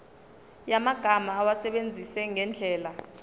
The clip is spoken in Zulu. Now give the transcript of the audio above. yamagama awasebenzise ngendlela